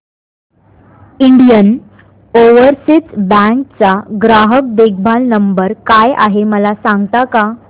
Indian overseas bank चा ग्राहक देखभाल नंबर काय आहे मला सांगता का